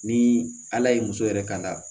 Ni ala ye muso yɛrɛ ka la